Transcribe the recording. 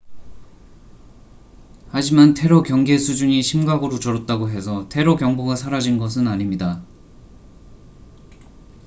하지만 테러 경계 수준이 심각으로 줄었다고 해서 테러 경보가 사라진 것은 아닙니다